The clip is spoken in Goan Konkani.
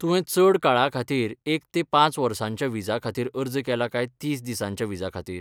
तुवें चड काळाखातीर एक ते पांच वर्सांच्या विजा खातीर अर्ज केला काय तीस दिसांच्या विजा खातीर?